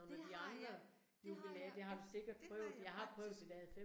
Det har jeg, det har jeg, ja, det har jeg faktisk